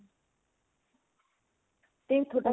ਤੇ ਥੋਡਾ